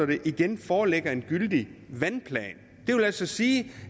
der igen foreligger en gyldig vandplan det vil altså sige